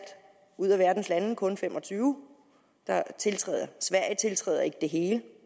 ud af verdens lande kun fem og tyve der tiltræder sverige tiltræder ikke det hele